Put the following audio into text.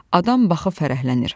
Adam baxıb fərəhlənir.